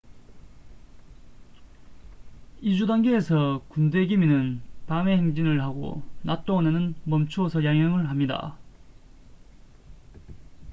이주 단계에서 군대 개미는 밤에 행진을 하고 낮 동안에는 멈추어서 야영을 합니다